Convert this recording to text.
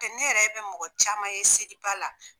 ne yɛrɛ be mɔgɔ caman ye seliba la.